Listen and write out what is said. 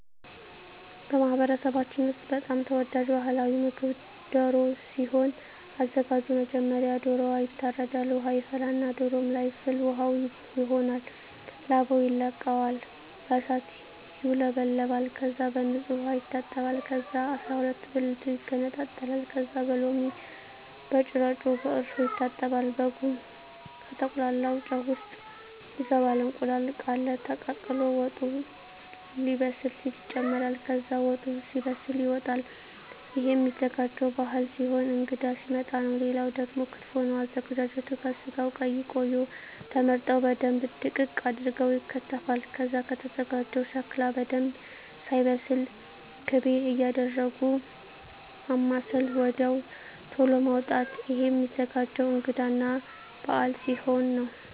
በማህበረሰባችን ውስጥ በጣም ተወዳጅ ባህላዊ ምግብ ደሮ ሲሆን አዘጋጁ መጀመሪያ ዶሮዎ ይታረዳል ውሃ ይፈላና ዶሮዎ ለይ ፍል ውሃው ይሆናል ላባው ይለቀማል በእሳት ይውለበለባል ከዛ በንጹህ ዉሃ ይታጠባል ከዛ አስራሁለት ብልቱ ይገነጣጠላል ከዛ በሎሚ በጭረጮ በእርሾ ይታጠባል በጉን ከተቁላላው ጨው ውሰጥ ይገባል እንቁላል ቃለ ተቀቅሎ ወጡ ሌበስል ሲል ይጨምራል ከዛ ወጡ ሲበስል ይወጣል እሄም ሚዘጋጀው ባህል ሲሆን እንግዳ ሲመጣ ነው ሌላው ደግሞ ክትፎ ነው አዘገጃጀቱ ከስጋው ቀይ ቀዩ ተመርጠው በደንብ ድቅቅ አርገው ይከተፋል ከዛ ከተዘጋጀው ሸክላ በደንብ ሳይበስል ክቤ እያረጉ ማማሰል ወድያው ተሎ ማዉጣት እሄም ሚዘገጀው እንግዳ እና በአል ሲሆን ነው